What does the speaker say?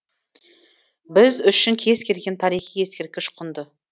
біз үшін кез келген тарихи ескерткіш құнды